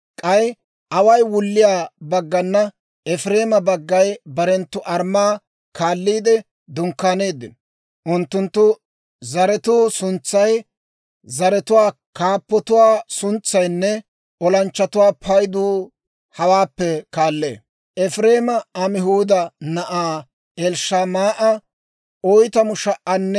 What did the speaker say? «K'ay away wulliyaa baggana Efireema baggay barenttu armmaa kaalliide dunkkaanino. Unttunttu zaratuwaa suntsay, zaratuwaa kaappatuwaa suntsaynne olanchchatuwaa paydu hawaappe kaallee: Efireema Amihuuda na'aa Elishamaa'a 40,500;